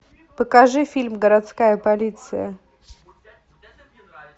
покажи фильм городская полиция